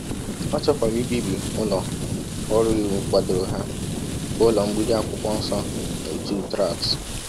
Ọ chọkwara ibibi ụlọ ọrụ iwu kwadoro ha, bụ́ ụlọ mgbidi akwụkwọ nsọ na ọtụ Tract.